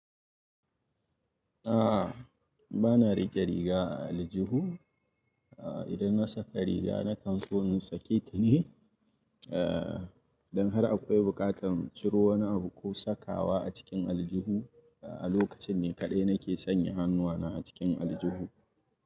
A'a, bana rike riga a aljihu. A idan na saka riga na kan so ni sake ta ne. Eh, don har akwai buƙatan ciro wani abu ko sakawa a cikin aljihu a lokacin ne kaɗai nake sanya hannuwana a cikin aljihu.